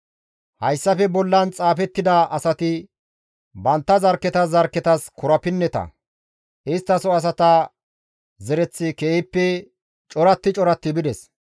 Hayssafe bollan xaafettida asati bantta zarkketas zarkketas korapinneta; isttaso asata zereththi keehippe coratti coratti bides.